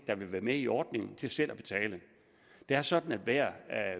der vil være med i ordningen til selv at betale det er sådan at hver